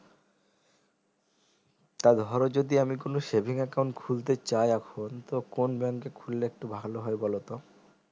তারধরো যদি আমি কোনো saving account খুলতে চাই এখন তো কোন bank খুললে একটু ভালো হয় বলতো